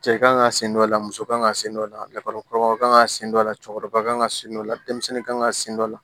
Cɛ kan ŋa sen dɔ la muso kan ka sen dɔ la lakɔlikɔrɔ kan ka sen dɔ la cɛkɔrɔba kan ka sen dɔ la denmisɛnnin kan ka sen dɔ la